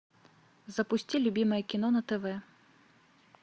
запусти любимое кино на тв